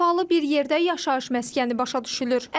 Səfalı bir yerdə yaşayış məskəni başa düşülür.